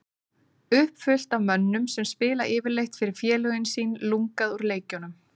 Uppfullt af mönnum sem spila yfirleitt fyrir félögin sín lungað úr leikjunum.